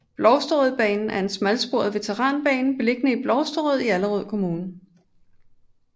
Blovstrød Banen er en smalsporet veteranbane beliggende i Blovstrød i Allerød Kommune